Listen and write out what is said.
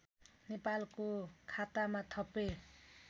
नेपालको खातामा थपे